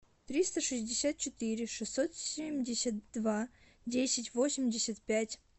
триста шестьдесят четыре шестьсот семьдесят два десять восемьдесят пять